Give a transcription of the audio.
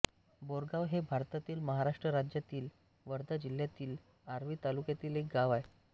बोरगाव हे भारतातील महाराष्ट्र राज्यातील वर्धा जिल्ह्यातील आर्वी तालुक्यातील एक गाव आहे